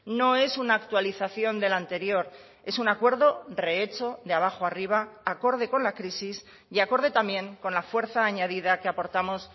no es una actualización del anterior es un acuerdo rehecho de abajo arriba acorde con la crisis y acorde también con la fuerza añadida que aportamos